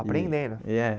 Apreendendo? É